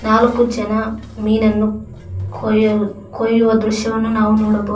ನಾಲ್ಕು ಜನ ಮೀನನ್ನು ಕೊಯ್ ಕೊಯ್ಯುವ ದೃಶ್ಯವನ್ನು ನಾವು ನೋಡಬಹುದ--